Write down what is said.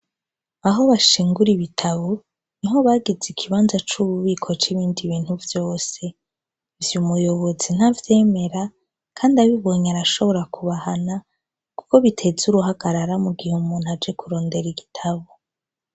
Aho bashingura ibitabo ni ho bagize ikibanza c'ububiko c'ibindi bintu vyose ivyo umuyobozi ntavyemera, kandi abibonye arashobora kubahana, kuko biteze uruhagarara mu gihe umuntu aje kurondera igitabo.